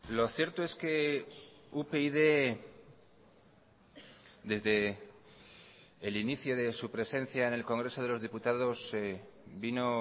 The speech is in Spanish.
lo cierto es que upyd desde el inicio de su presencia en el congreso de los diputados vino